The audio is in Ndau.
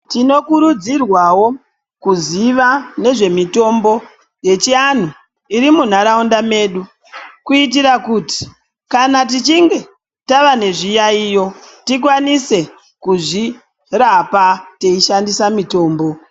Tinokurudzirwawo kuziva nezvemitombo yechianhu iri munharaunda medu kuitira kuti kana tichinge tava nezviyaiyo tikwanise kuzvirapa teishandisa mitombo.